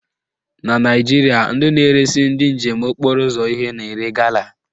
Na Naijiria, ndị na-eresi ndị njem okporo ụzọ ihe na-ere gala